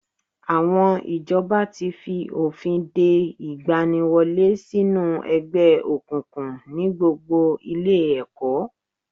Àwọn ìjọba fi òfin de ìgbaniwọlé sínú ẹgbẹ́ òkùnkùn ní gbogbo ilé ẹ̀kọ́